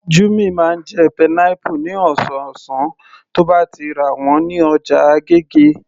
Jummy máa ń jẹ pineapple ní ọ̀sọ̀ọ̀sán tí ó bá ti rà wọ́n ní ọjà agége